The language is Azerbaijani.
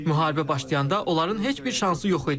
Müharibə başlayanda onların heç bir şansı yox idi.